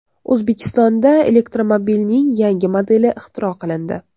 O‘zbekistonda elektromobilning yangi modeli ixtiro qilindi.